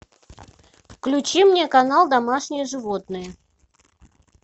включи мне канал домашние животные